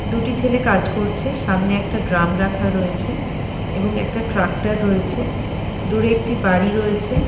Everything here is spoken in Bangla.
দুটি ছেলে কাজ করছে সামনে একটা ড্রাম রাখা রয়েছে এবং একটা ট্র্যাক্টর রয়েছে দূরে একটি বাড়ি রয়েছে।